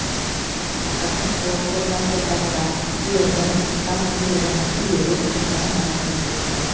тақырдың сор сортаң топырағында бұйырғын тасбұйырғын күйреуік жусан басым өскен